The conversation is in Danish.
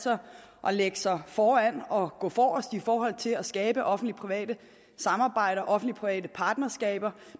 at lægge sig foran og gå forrest i forhold til at skabe offentlig private samarbejder offentlig private partnerskaber